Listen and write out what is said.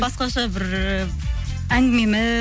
басқаша бір і